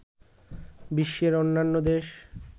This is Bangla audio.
বিশ্বের অন্যান্য দেশ